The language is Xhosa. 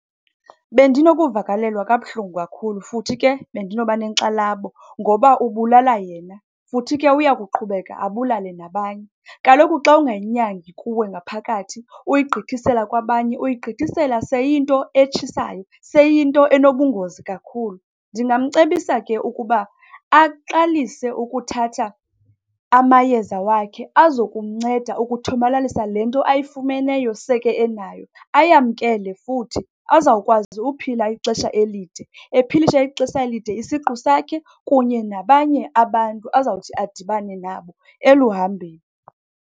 Bendinokuvakalelwa kabuhlungu kakhulu futhi ke bendinoba nenkxalabo ngoba ubulala yena, futhi ke uya kuqhubeka abulale nabanye. Kaloku xa ungayinyangi kuwe ngaphakathi uyigqithisela kwabanye, uyigqithisela seyiyinto etshisayo, seyiyinto enobungozi kakhulu. Ndingamcebisa ke ukuba aqalise ukuthatha amayeza wakhe azokumnceda ukuthomalalisa le nto ayifumeneyo, seke enayo. Ayamkele futhi, azawukwazi uphila ixesha elide. Ephilisa ixesha elide isiqu sakhe kunye nabanye abantu azawuthi adibane nabo eluhambeni.